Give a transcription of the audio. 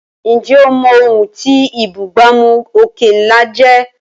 Ǹjẹ́ o mọ̀ ohun tí ìbúgbàmù òkè ńlá jẹ́?